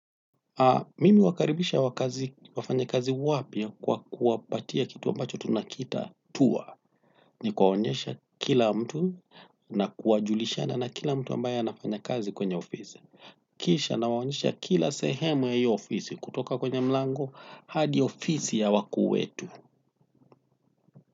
Mimi huwapokea wafanyakazi wapya kwa kuwapatia kitu ambacho tunakiita tour. Ni kuwaonyesha kila mtu na kuwajulisha na kila mtu ambaye anafanya kazi kwenye ofisi. Na kuwaonyesha kila sehemu ya hiyo ofisi, kuanzia mlangoni hadi kwenye ofisi ya wakuu wetu.